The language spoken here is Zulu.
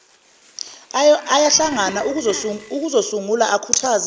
ayahlangana ukuzosungula akhuthaze